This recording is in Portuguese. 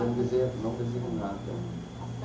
Eu não desenho, não desenho nada.